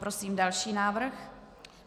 Prosím další návrh.